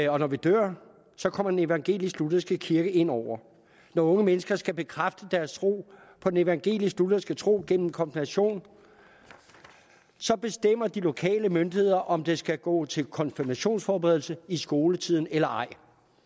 og når vi dør kommer den evangelisk lutherske kirke ind over når unge mennesker skal bekræfte deres tro på den evangelisk lutherske tro gennem konfirmation bestemmer de lokale myndigheder om de skal gå til konfirmationsforberedelse i skoletiden eller ej